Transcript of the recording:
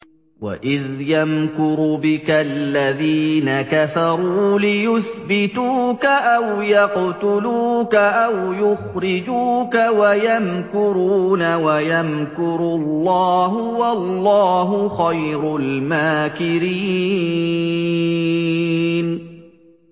وَإِذْ يَمْكُرُ بِكَ الَّذِينَ كَفَرُوا لِيُثْبِتُوكَ أَوْ يَقْتُلُوكَ أَوْ يُخْرِجُوكَ ۚ وَيَمْكُرُونَ وَيَمْكُرُ اللَّهُ ۖ وَاللَّهُ خَيْرُ الْمَاكِرِينَ